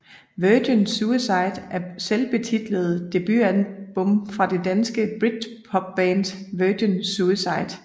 Virgin Suicide er selvbetitlede debutalbum fra det danske britpopband Virgin Suicide